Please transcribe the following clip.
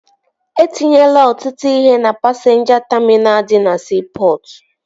E tinyela ọtụtụ ihe na pasinja taminal dị na siipọtụ